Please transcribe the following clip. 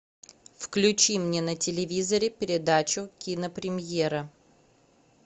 включи мне на телевизоре передачу кинопремьера